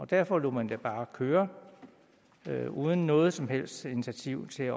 derfor lod man det bare køre uden noget som helst initiativ til at